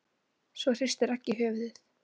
Svo hristir Raggi höfuðið.